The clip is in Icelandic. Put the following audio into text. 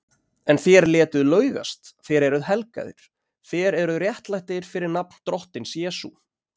En þér létuð laugast, þér eruð helgaðir, þér eruð réttlættir fyrir nafn Drottins Jesú